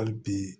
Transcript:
Hali bi